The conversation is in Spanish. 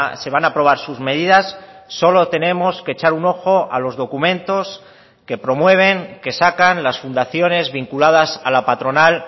se van a aprobar sus medidas solo tenemos que echar un ojo a los documentos que promueven que sacan las fundaciones vinculadas a la patronal